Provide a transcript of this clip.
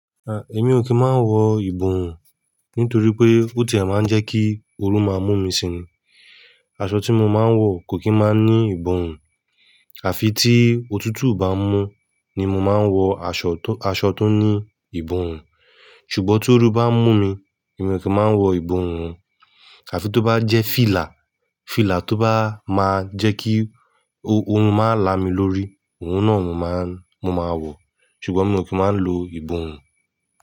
Èmi ò kí máa ń wọ ìborún nítorí pé ó ti ẹ̀ máa ń jẹ́ kí oru máa mú mi si ní. Aṣọ tí mo máa ń wọ kò kí máa ń ní ìborún, àfi tí òtútù bá mú ni mo máa ń wọ aṣọ tó, aṣọ tó ní ìborún. Ṣùgbọ́n toru bá mú mi, èmi ò kí máa ń wọ ìborún, àfi tó bá jẹ́ fìlà, fìlà tó bá máa jẹ́ kí orun máa lá mi lórí, òun náà mo máa, mo máa wọ̀. Ṣùgbọ́n mi ò kí máa ń lo ìbùwún.